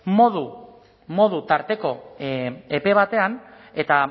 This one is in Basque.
modu tarteko epe batean eta